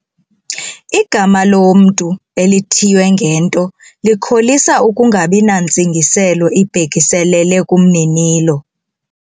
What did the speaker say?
Igama lomntu elithiywe ngento likholisa ukungabi nantsingiselo ibhekiselele kumninilo.